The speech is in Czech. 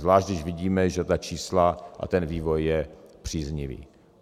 Zvlášť když vidíme, že ta čísla a ten vývoj je příznivý.